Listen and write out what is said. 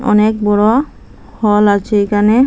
অনেক বড়ো হল আছে এইখানে।